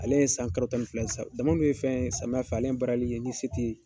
Ale ye san kalo tan ni fila ye sisan dama dun ye fɛn samiya fɛ ale barali ye ni se ti ye.